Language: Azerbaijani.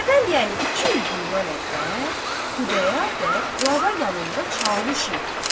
Əvvəl, yəni iki il bundan əqdəm Xudayar bəy Qlava yanında çavuş idi.